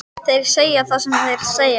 Þeir segja það sem þeir segja,